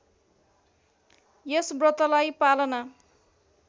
यस व्रतलाई पालना